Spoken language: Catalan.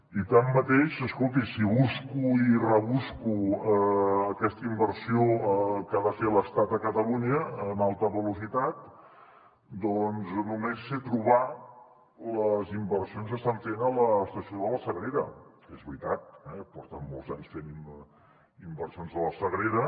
i tanmateix escolti si busco i rebusco aquesta inversió que ha de fer l’estat a catalunya en alta velocitat doncs només sé trobar les inversions que estan fent a l’estació de la sagrera que és veritat eh porten molts anys fent inversions a la sagrera